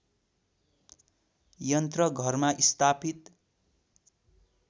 यन्त्र घरमा स्थापित